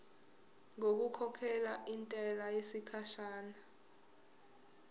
ngokukhokhela intela yesikhashana